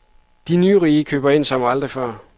De nyrige køber ind som aldrig før.